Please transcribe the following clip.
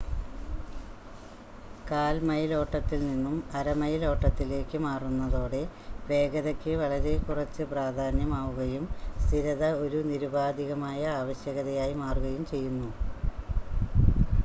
കാൽ മൈൽ ഓട്ടത്തിൽ നിന്നും അര മൈൽ ഓട്ടത്തിലേക്ക് മാറുന്നതോടെ വേഗതയ്ക്ക് വളരെ കുറച്ച് പ്രാധാന്യം ആവുകയും സ്ഥിരത ഒരു നിരുപാധികമായ ആവശ്യകതയായി മാറുകയും ചെയ്യുന്നു